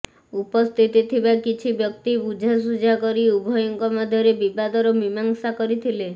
ଉପସ୍ଥିତି ଥିବା କିଛି ବ୍ୟକ୍ତି ବୁଝାସୁଝା କରି ଉଭୟଙ୍କ ମଧ୍ୟରେ ବିବାଦର ମୀମାଂସ କରିଥିଲେ